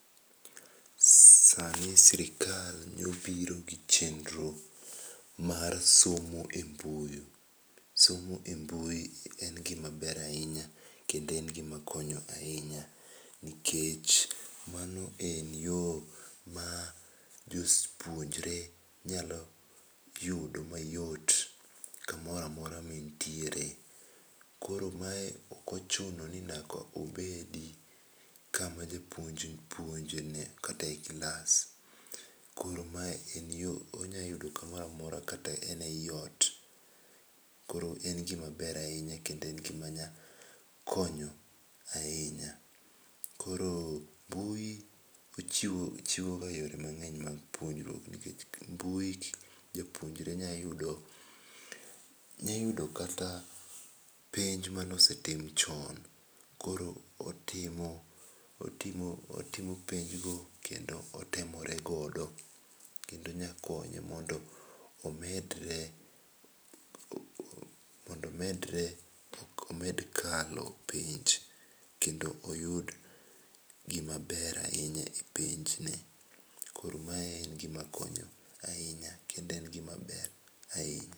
SA NI SIRKAL NE OBIRO GI CHENRO MAR SOMO E MBUI. SOMO e mbui EN GIM MA BER AHINYA kendo en gi ma konyo ahinya nikech ma no en yoo ma jopuonjre nyalo yudo mayot ka moro amora ma en tiere koro ma ok ochuno ni nyaka obedi kama jopuonj puonjre kata e klas. Koro ma en yo ma onyalo yudo ku moro amora kata en e i ot.koro en gi ma ber ahinya kendo en gi ma nya konyo ahinya koro mbui ochiwo yore mang'eny mag puonjruok nikech mbui japuonjre nya yudo kata penj ma ne osetim chon koro otimo penj go kendo otemore godo ,kendo nya konye mondo omedre mondo omed kalo penj, kendo oyud gi ma ber ahinya e penj ne. Koro mae en gi ma konyo ahinya kendo en gi ma ber ahinya.